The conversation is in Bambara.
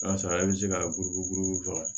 O y'a sɔrɔ e bɛ se ka buruburu faga